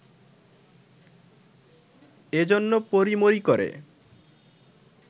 এ জন্য পড়িমড়ি করে